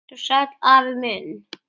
Vertu sæll, afi minn.